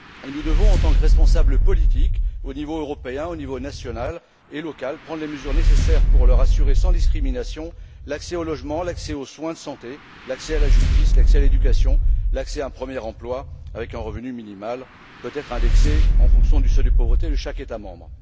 Nous devons, en tant que responsables politiques, au niveau européen et aux niveaux national et local, prendre les mesures nécessaires pour leur assurer, sans discrimination, l'accès au logement, aux soins de santé, à la justice, à l'éducation, ainsi que l'accès à un premier emploi avec un revenu minimal, peut être indexé en fonction du seuil de pauvreté de chaque État membre.